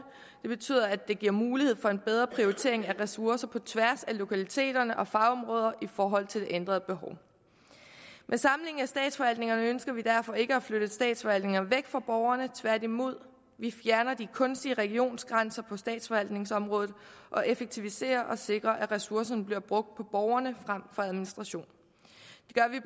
det betyder at det giver mulighed for en bedre prioritering af ressourcer på tværs af lokaliteter og fagområder i forhold til det ændrede behov med samlingen af statsforvaltningerne ønsker vi derfor ikke at flytte statsforvaltninger væk fra borgerne tværtimod vi fjerner de kunstige regionsgrænser på statsforvaltningsområdet og effektiviserer og sikrer at ressourcerne bliver brugt på borgerne frem for administration